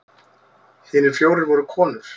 Hinir fjórir voru konur.